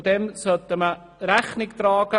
Dem sollte man Rechnung und Sorge tragen.